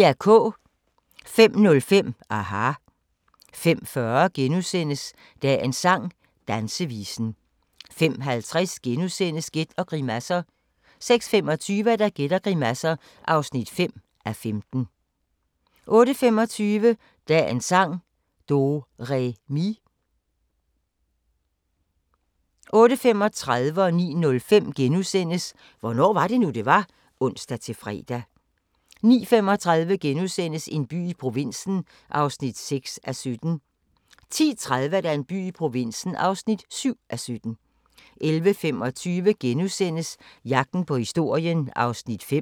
05:05: aHA! 05:40: Dagens sang: Dansevisen * 05:50: Gæt og grimasser * 06:25: Gæt og grimasser (5:15) 08:25: Dagens sang: Do-re-mi 08:35: Hvornår var det nu, det var? *(ons-fre) 09:05: Hvornår var det nu, det var? *(ons-fre) 09:35: En by i provinsen (6:17)* 10:30: En by i provinsen (7:17) 11:25: Jagten på historien (5:8)*